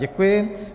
Děkuji.